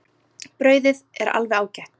Brauðið er alveg ágætt.